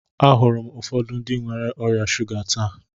Ahụrụ m ụfọdụ ndị nwere ọrịa shuga taa.